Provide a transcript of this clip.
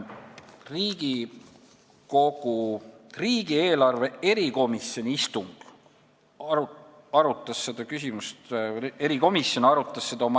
Riigikogu riigieelarve kontrolli erikomisjon arutas seda küsimust oma s.